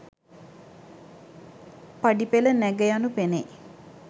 පඩිපෙළ නැග යනු පෙනෙයි.